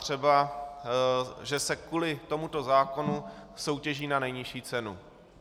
Třeba že se kvůli tomuto zákonu soutěží na nejnižší cenu.